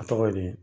A tɔgɔ ye di